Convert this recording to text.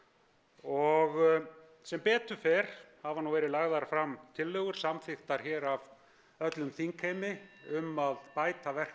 og sem betur fer hafa nú verið lagðar fram tillögur samþykktar hér af öllum þingheimi um að bæta verklag